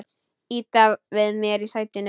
Ýta við mér í sætinu.